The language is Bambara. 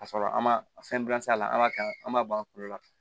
Ka sɔrɔ an ma fɛn gilan sa a la an b'a kɛ an b'a bɔ a tulo la